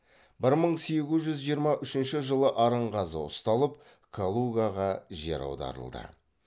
бір мың сегіз жүз жиырма үшінші жылы арынғазы ұсталып калугаға жер аударылды